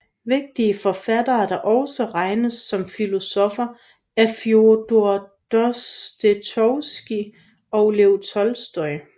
Vigtige forfattere der også regnes som filosoffer er Fjodor Dostojevskij og Lev Tolstoj